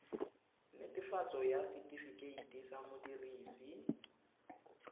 netefatso ya setifikeite sa modirisi